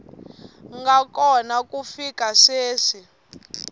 nga kona ku fika sweswi